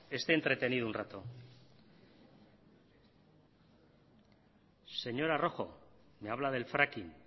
esté entretenido un rato señora rojo me habla del fracking